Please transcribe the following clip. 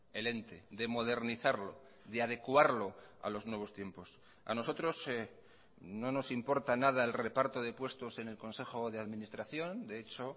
el ente de modernizarlo de adecuarlo a los nuevos tiempos a nosotros no nos importa nada el reparto de puestos en el consejo de administración de hecho